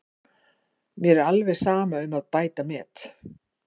Mér er alveg sama um að bæta met.